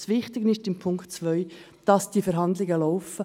Das Wichtige im Punkt 2 ist: Die Verhandlungen laufen.